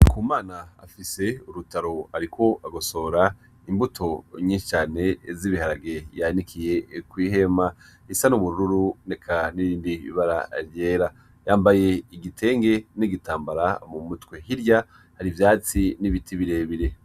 NDIKUMANA afise urutaro ariko agosora imbuto nyishi cane z' ibiharage yanikiye kwi hema bisa n' ubururu eka nirindi bara ryera yambaye igitenge n' igitambara mu mutwe hirya hari ivyatsi n' ibiti bire bire.